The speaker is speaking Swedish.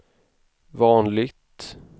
vanligt